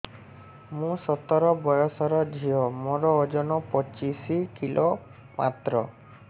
ମୁଁ ସତର ବୟସର ଝିଅ ମୋର ଓଜନ ପଚିଶି କିଲୋ ମାତ୍ର